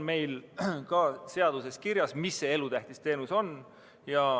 Meil on seaduses kirjas, mis on elutähtis teenus.